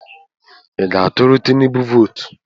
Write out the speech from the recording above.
Ị ga-atụrụ Tinubu vootu?